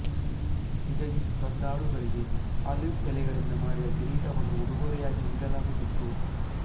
ವಿಜಯೀ ಸ್ಪರ್ಧಾಳುಗಳಿಗೆ ಆಲಿವ್ ಎಲೆಗಳಿಂದ ಮಾಡಿದ ಕಿರೀಟವನ್ನು ಉಡುಗೊರೆಯಾಗಿ ನೀಡಲಾಗುತ್ತಿತ್ತು